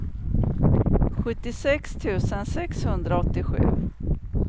sjuttiosex tusen sexhundraåttiosju